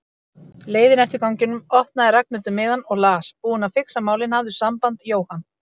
leiðinni eftir ganginum opnaði Ragnhildur miðann og las: Búinn að fixa málin, hafðu samband, Jóhann